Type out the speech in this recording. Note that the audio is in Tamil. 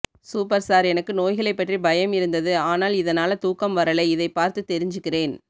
சூப்பர் சார் எனக்கு நோய்களை பற்றி பயம் இருந்ததது ஆனால் இ தனால தூக்கம் வரலை இதை பார்த்து தெரிஞ்சுக்கிறேன்